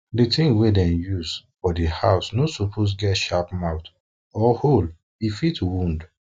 di tin wey dem dey use for di house no suppose get sharp mouth or sharp mouth or hole e fit wound